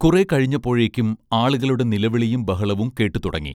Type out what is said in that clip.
കുറേ കഴിഞ്ഞപ്പോഴേക്കും ആളുകളുടെ നിലവിളിയും ബഹളവും കേട്ടുതുടങ്ങി